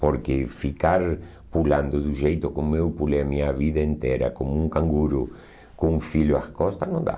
Porque ficar pulando do jeito como eu pulei a minha vida inteira, como um canguru com um filho à costa, não dá.